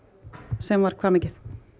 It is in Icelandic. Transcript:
sem var hvað mikið